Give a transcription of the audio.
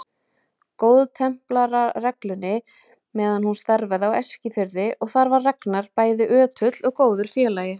Góðtemplarareglunni meðan hún starfaði á Eskifirði og þar var Ragnar bæði ötull og góður félagi.